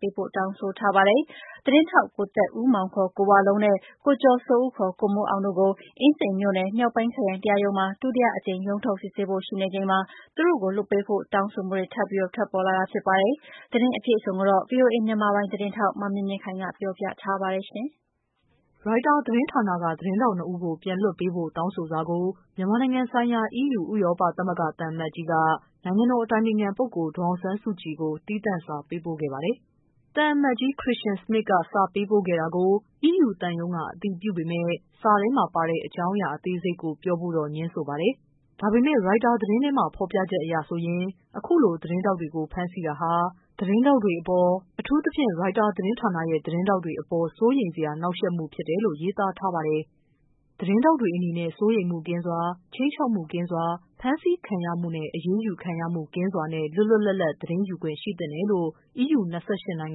ပေးပို့ တောင်းဆိုထားပါတယ်။ သတင်းထောက် ကိုသက်ဦးမောင် ခေါ် ကိုဝလုံးနဲ့ ကိုကျော်စိုးဦး ခေါ် ကိုမိုး အောင်တို့ကို အင်းစိန်မြို့နယ် မြောက်ပိုင်းခရိုင် တရားရုံးမှာ ဒုတိယအကြိမ် ရုံးထုတ်စစ်ဆေးဖို့ရှိနေချိန်မှာ သူတို့ကိုလွှတ်ပေးဖို့ တောင်းဆိုမှုတွေထပ်ပြီး ထွက်ပေါ်လာတာဖြစ်ပါတယ်။ သတင်းအပြည့် အစုံကိုတော့ ဗွီအိုအေ မြန်မာပိုင်း သတင်းထောက် မမြင့်မြင့်ခိုင်က ပြောပြပေးပါမယ်။ ရိုက်တာသတင်းဌာနက သတင်းထောက် ၂ ယောက်ကို ပြန်လွှတ်ပေးဖို့တောင်းဆိုစာကို မြန်မာနိုင်ငံဆိုင်ရာ အီးယူဥရောပသမဂ္ဂသံအမတ်ကြီးက နိုင်ငံတော်အတိုင်ပင်ခံပုဂ္ဂိုလ် ဒေါ်အောင်ဆန်းစုကြည်ဆီကို သီးသန့်စာပေးဖို့ခဲ့ပါတယ်။ သံအမတ်ကြီး Kristian Schmidt က စာပေးပို့ခဲ့တာကို အီယူသံရုံးက အတည်ပြုပေမဲ့ စာထဲပါမှာတဲ့အကြောင်းအရာအသေးစိတ်ကို ပြောဖို့တော့ ငြင်းဆိုပါတယ်။ ဒါပေမဲ့ ရိုက်တာသတင်းထဲမှာ ဖော်ပြချက်အရဆိုရင် ခုလိုသတင်းထောက်တွေကို ဖမ်းဆီးထားတာဟာ သတင်းထောက်တွေအပေါ် အထူးသဖြင့် ရိုက်တာသတင်းဌာနရဲ့ သတင်းထောက်တွေအပေါ် စိုးရိမ်စရာ နှောင့်ယှက်မှုဖြစ်တယ်လို့ ရေးသားထားပါတယ်။ သတင်းထောက်တွေအနေနဲ့ စိုးရိမ်မှုကင်းစွာ။ ခြိမ်းခြောက်မှုကင်းစွာ။ ဖမ်းဆီးခံရမှု။ အရေးယူခံရမှုကင်းစွာနဲ့ လွတ်လွတ်လပ်လပ် သတင်းယူခွင့်ရှိသင့်တယ်လို့အီးယူ ၂၈ နိုင်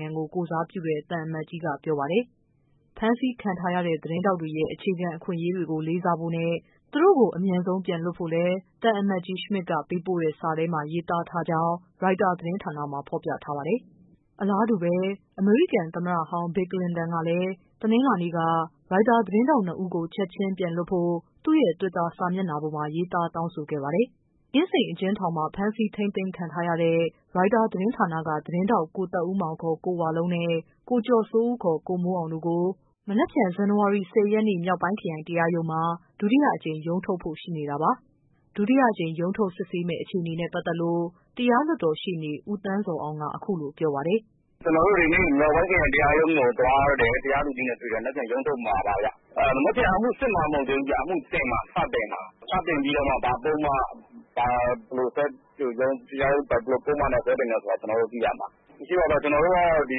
ငံကို ကိုယ်စားပြုတဲ့ သံအမတ်ကြီးက ပြောပါတယ်။ ဖမ်းဆီးခံထားရတဲ့ သတင်းထောက်တွေရဲ့ အခြေခံအခွင့်အရေးတွေကို လေးစားဖို့နဲ့ သူတို့ကို အမြန်ဆုံး လွှတ်ပေးဖို့လည်း သံအမတ်ကြီး ရှမဒ်စ်ပေးပို့တဲ့ စာထဲမှာ ရေးထားကြောင်း ရိုက်တာသတင်းမှာ ဖော်ပြထားပါတယ်။ အလားတူပဲ အမေရိကန် သမ္မတဟောင်း ဘီလ်ကလင်တန်ကလည်း တနင်္လာနေ့က ရိုက်တာ သတင်းထောက် နှစ် ဦးကို ချက်ချင်း ပြန်လွှတ်ဖို့ သူ့ရဲ့ တွစ်တာ စာမျက်နှာပေါ်မှာ ရေးသားတောင်းဆိုခဲ့ပါတယ်။ အင်းစိန်အကျဉ်းထောင်မှာ ဖမ်းဆီးထိန်းသိမ်းခံထားရတဲ့ Reuters သတင်းဌာနက သတင်းထောက် ကိုသက်ဦးမောင် ခေါ် ကိုဝလုံးနဲ့ ကိုကျော်စိုးဦး ခေါ် ကိုမိုး အောင်တို့ကို မနက်ဖြန် ဇန်နဝါရီ ၁၀ရက်နေ့ မြောက်ပိုင်းခရိုင် တရားရုံးမှာ ဒုတိယအကြိမ် ရုံးထုတ် ရှိနေတာပါ။ ဒုတိယအကြိမ် ရုံးထုတ်စစ်ဆေးမယ့် အခြေအနေနဲ့ ပတ်သက်လို့ တရားလွှတ် တော်ရှေ့နေ ဦးသန်းဇော်အောင်က အခုလိုပြောပါတယ်။ "ကျနော်တို့ဒီနေ့ မြောက်ပိုင်းခရိုင်တရားရုံးကိုသွားတယ် တရားသူကြီးနဲ့တွေ့တယ်။ မနက်ဖြန်ရုံးထုတ်မှာပါခင်ဗျ မနက်ဖြန်က အမှုစစ်မှာ မဟုတ်သေးဘူး အမူတင်မှာ စပြီးတော့ တင်မှာ ၊ တင်ပြီးမှ ဘာပုဒ်မတွေနဲ့ ဆွဲတင်မလဲဆိုတာ ကျနော်တို့သိ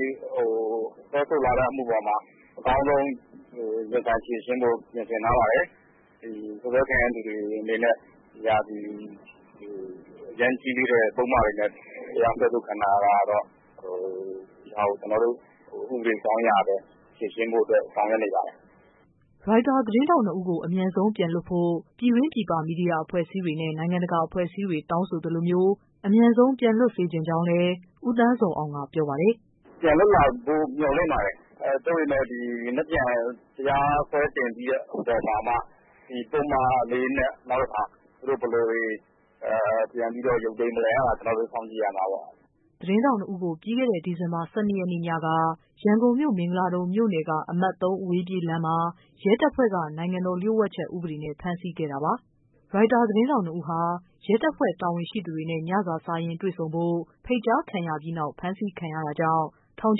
ရမှာ။ ကျနော်တို့ကတော့ ဒီစွဲဆိုလာတဲ့အမှုအပေါ်မှာ အကောင်းဆုံးရင်ဆိုင်ဖြေရှင်းဖို့အတွက် ပြင်ဆင်ထားပါတယ်။ ဒီ စွပ်စွဲခံရသူတွေအနေနဲ့ အရမ်းကြီးလေးတဲ့ ပုဒ်မတွေနဲ့ စွဲဆိုခံထားရတာတွေကို ကျနော်တို့ ဥပဒေအကြောင်းအရလည်း ဖြေရှင်းဖို့အတွက် ဆောင်ရွက်နေပါတယ်။" ရိုက်တာ သတင်းထောက် နှစ်ဦးကို အမြန်ဆုံး ပြန်လွှတ်ဖို့ ပြည်တွင်း၊ ပြည်ပ မီဒီယာအဖွဲ့အစည်းတွေနဲ့ နိုင်ငံတကာအဖွဲ့အစည်းတွေ တောင်းဆိုသလိုမျိုး အမြန်ဆုံး ပြန်လွှတ်စေချင်ကြောင်းလည်း ဦးသန်း ဇော်အောင်က ပြောပါတယ်။ "ပြန်လွှတ်လာဖို့ မျှော်လင့်ပါတယ် သို့ပေမယ့် မနက်ဖြန် တရားစွဲတင်ပြီးတဲ့အခါမှာမှ ဒီပုဒ်မတွေနဲ့ နောက်တခါ သူတို့ဘယ်လိုတွေ ပြန်ပြီးတော့ ရုံးချိန်းပေးမလဲ ဆိုတာ ကျနော်တို့စောင့်ကြည့်ရမှာပေါ့။" သတင်းထောက် ၂ ယောက်ကို ပြီးခဲ့တဲ့ ဒီဇင်ဘာ ၁၂ရက်နေ့ညက ရန်ကုန်မြို့ မင်္ဂလာဒုံမြို့နယ်က အမှတ် ၃ အဝေးပြေး လမ်းမှာ ရဲတပ်ဖွဲ့က နိုင်ငံတော် လ ျှို့ဝှက်ချက် အက်ဥပဒေနဲ့ ဖမ်းဆီးခဲ့တာပါ။ ရိုက်တာ သတင်းထောက် နှစ်ဦးဟာ ရဲတာဝန်ရှိသူတွေနဲ့ ညစာစားရင်းတွေ့ဆုံဖို့ ဖိတ်ကြားခံရပြီးနောက် ဖမ်းဆီးခံရတာကြောင့်ထောင်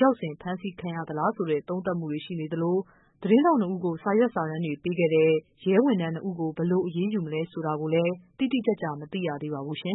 ချောက် ဆင်ဖမ်းဆီးခံခဲ့ရသလား ဆိုတဲ့ သုံးသပ်မှုတွေရှိနေသလို သတင်း ထောက် နှစ်ဦးကို စာရွက်စာတမ်းတွေပေးခဲ့တဲ့ ရဲဝန်ထမ်းနှစ်ဦးကို ဘယ်လို အရေးယူမလဲဆိုတာလည်း တိတိကျကျ မသိရသေးပါဘူး။